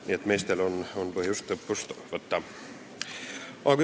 Nii et meestel on põhjust õppust võtta.